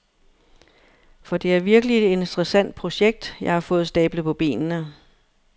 For det er virkelig et interessant projekt, jeg har fået stablet på benene.